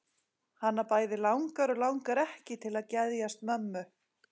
Hana bæði langar og langar ekki til að geðjast mömmu.